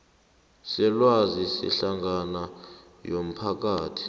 selwazi sehlangano yomphakathi